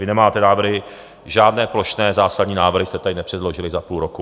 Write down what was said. Vy nemáte návrhy žádné, plošné zásadní návrhy jste tady nepředložili za půl roku.